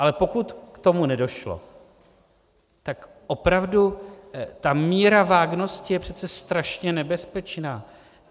Ale pokud k tomu nedošlo, tak opravdu ta míra vágnosti je přece strašně nebezpečná.